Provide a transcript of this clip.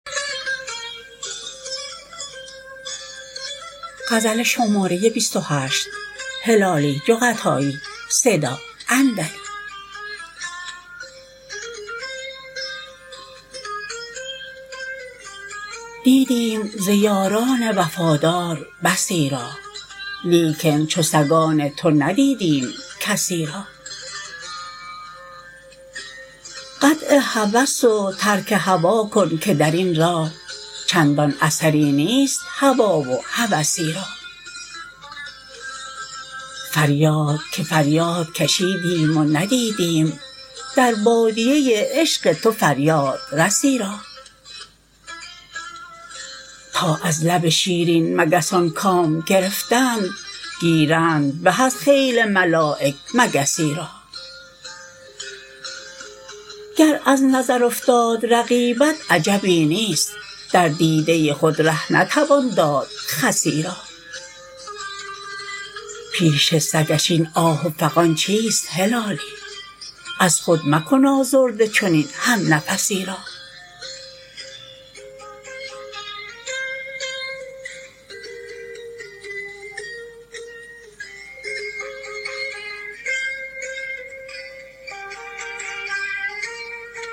دیدیدیم ز یاران وفادار بسی را لیکن چو سگان تو ندیدیم کسی را قطع هوس و ترک هوی کن که درین راه چندان اثری نیست هوی و هوسی را فریاد که فریاد کشیدیم و ندیدیم در بادیه عشق تو فریادرسی را تا از لب شیرین مگسان کام گرفتند گیرند به از خیل ملایک مگسی را گر از نظر افتاد رقیبت عجبی نیست در دیده خود ره نتوان داد خسی را پیش سگش این آه و فغان چیست هلالی از خود مکن آزرده چنین هم نفسی را